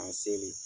A seli